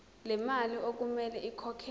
lemali okumele ikhokhelwe